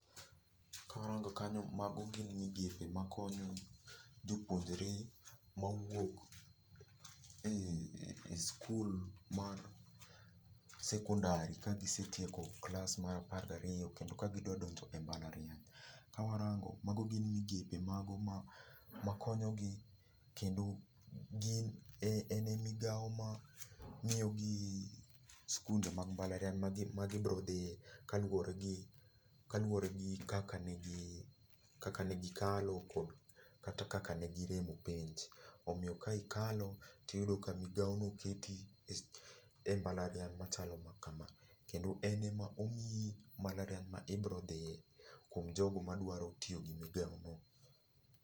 Ka warango kanyo mago gin migepe ma konyo jopuonjre mowuok ei skul mar sekondari ka gisetieko klas mar apar gi ariyo kendo ka gidwa donjo e mbalariany. Ka warango, mago gin migepe mago ma konyo gi, kendo gin, en e migawo ma miyo gi skunde mag mbalariany ma gibro dhie kaluwore gi, kaluwore gi kaka ne gi, kaka negi kalo, kod kata kaka negi rem e penj. Omiyo ka ikalo tiyudo ka migawo no keti e mbalariany machalo ma kama, kendo en e ma omii mbalariany ma ibiro dhie kuom jogo madwaro tiyo gi migawo no.